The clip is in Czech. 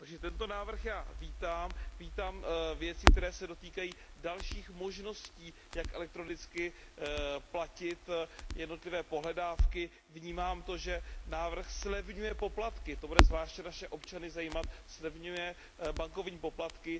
Takže tento návrh vítám, vítám věci, které se dotýkají dalších možností, jak elektronicky platit jednotlivé pohledávky, vnímám to, že návrh zlevňuje poplatky, to bude zvláště naše občany zajímat, zlevňuje bankovní poplatky.